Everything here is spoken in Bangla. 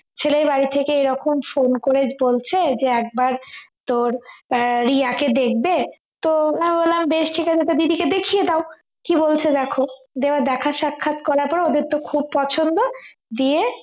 ছেলের বাড়ি থেকে এরকম phone করে বলছে যে একবার তোর আহ রিয়াকে দেখবে তো আমি বললাম বেশ ঠিক আছে তো দিদিকে দেখিয়ে দাও কি বলছে দেখ তো দেখা সাক্ষাৎ করার পর ওদের তো খুব পছন্দ দিয়ে